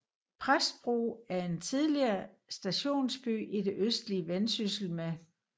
Præstbro er en tidligere stationsby i det østlige Vendsyssel med